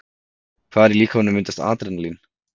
Hvar í líkamanum myndast Adrenalín?